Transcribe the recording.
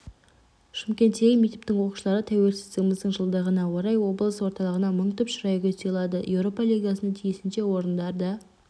шымкенттегі мектептің оқушылары тәуелсіздігіміздің жылдығына орай облыс орталығына мың түп шырайгүл сыйлады еуропа лигасында тиісінше орындарды